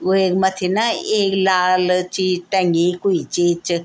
वेक मथ्थी न एक लाल चीज टंगी कुई चीज च।